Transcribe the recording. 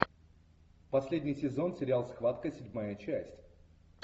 последний сезон сериал схватка седьмая часть